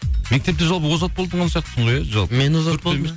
мектепте жалпы озат болған сияқтысың ғой иә жалпы мен озат болдым